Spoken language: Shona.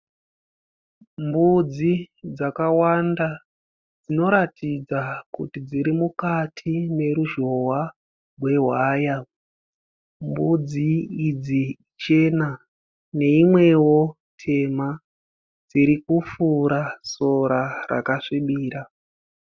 Mbudzi dzakawanda dzinoratidza kuti dziri mukati meruzhowa wewaya. Mbudzi idzi chena neimwewo tema dziri kufura sora rakasvibira.